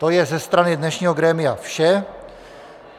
To je ze strany dnešního grémia vše.